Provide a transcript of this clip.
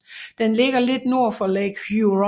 Den ligger lidt nord for Lake Huron